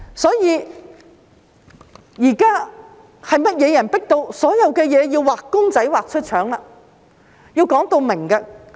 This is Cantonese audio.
所以，現在是甚麼人迫到所有事情也要"畫公仔畫出腸"，要明言？